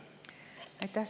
Aitäh!